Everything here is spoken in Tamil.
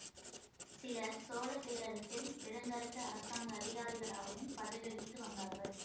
சிலர் சோழ பேரரசில் பெருந்தரத்து அரசாங்க அதிகாரிகளாகவும் பதவி வகித்து வந்தார்கள்